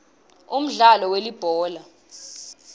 umdlalo welibhola